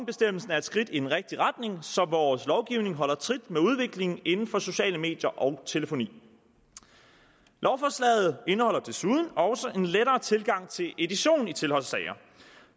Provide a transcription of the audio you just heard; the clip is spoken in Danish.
er et skridt i den rigtige retning så vores lovgivning holder trit med udviklingen inden for sociale medier og telefoni lovforslaget indeholder desuden også en lettere tilgang til edition i tilholdssager